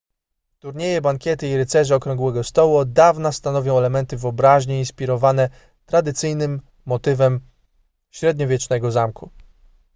turnieje bankiety i rycerze okrągłego stołu od dawna stanowią elementy wyobraźni inspirowane tradycyjnym motywem średniowiecznego zamku